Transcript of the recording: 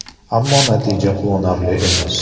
Ammo natija quvonarli emas.